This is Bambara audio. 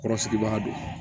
Kɔrɔsigibaga don